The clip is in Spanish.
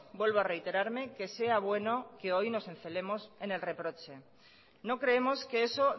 vuelvo a reiterarme que sea bueno que hoy nos encelemos en el reproche no creemos que eso